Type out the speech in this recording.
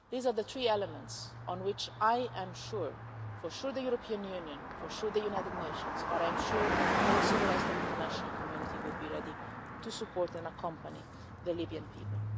These are the three elements on which I am sure for sure the European Union, for sure the United Nations but I'm sure also the rest of the international community would be ready to support and accompany the Libyan people.